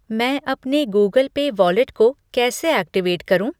मैं अपने Google Pay wallet को कैसे ऐक्टिवेट करूँ?